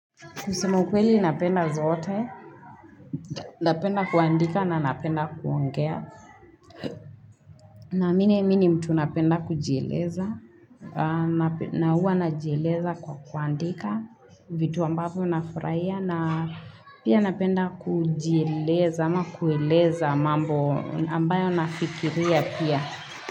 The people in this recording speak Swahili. Kusema ukweli napenda zote, napenda kuandika na napenda kuongea, naamini mimi ni mtu napenda kujieleza, na huwa najieleza kwa kuandika vitu ambavyo nafurahia na pia napenda kujieleza ama kueleza mambo ambayo nafikiria pia.